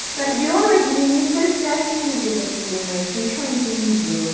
кардиологи ни ни сколь страшные люди как ты думаешь ничего они тебе не сделают